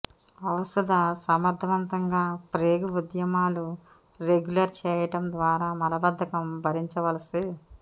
ఔషధ సమర్థవంతంగా ప్రేగు ఉద్యమాలు రెగ్యులర్ చేయడం ద్వారా మలబద్ధకం భరించవలసి